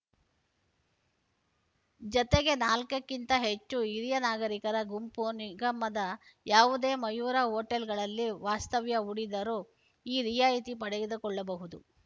ಜತೆಗೆ ನಾಲ್ಕಕ್ಕಿಂತ ಹೆಚ್ಚು ಹಿರಿಯ ನಾಗರಿಕರ ಗುಂಪು ನಿಗಮದ ಯಾವುದೇ ಮಯೂರ ಹೋಟೆಲ್‌ಗಳಲ್ಲಿ ವಾಸ್ತವ್ಯ ಹೂಡಿದರು ಈ ರಿಯಾಯಿತಿ ಪಡೆದುಕೊಳ್ಳಬಹುದು